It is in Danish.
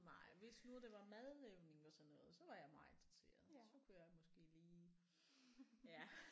Nej hvis nu det var madlavning og sådan noget så var jeg meget interesseret så kunne jeg måske lige ja